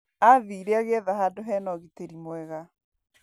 Athire agĩetha handũ hena ugitri mwega.